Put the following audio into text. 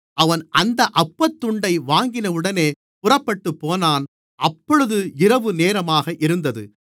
அவன் அந்த அப்பத் துண்டை வாங்கினவுடனே புறப்பட்டுப்போனான் அப்பொழுது இரவு நேரமாக இருந்தது